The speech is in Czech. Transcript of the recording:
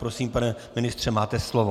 Prosím, pane ministře, máte slovo.